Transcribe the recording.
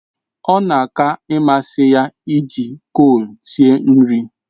Ọ na aka ịmasị ya iji kol sie nri.